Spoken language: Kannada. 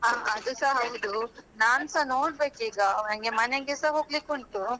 ಹಾ ಅದುಸ ಹೌದು. ನಾನ್ಸ ನೋಡ್ಬೇಕು ಈಗ ನಂಗೆ ಮನೆಗೆಸಾ ಹೋಗ್ಲಿಕುಂಟು.